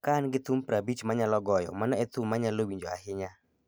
Ka an gi thum 50 ma anyalo goyo, mano e thum ma anyalo winjo ahinya.